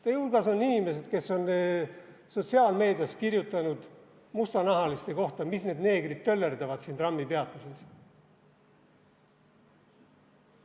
Meie hulgas on inimesed, kes on sotsiaalmeedias kirjutanud mustanahaliste kohta, et mis need neegrid töllerdavad siin trammipeatuses.